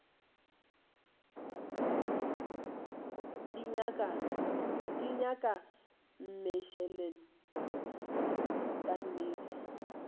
di nyaka mmešelet ka nnete